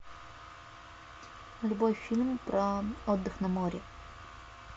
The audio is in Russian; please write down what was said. любой фильм про отдых на море